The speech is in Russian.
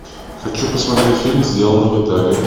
хочу посмотреть фильм сделано в италии